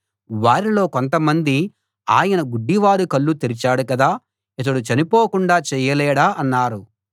వారిలో కొంతమంది ఆయన గుడ్డివారి కళ్ళు తెరిచాడు కదా ఇతను చనిపోకుండా చెయ్యలేడా అన్నారు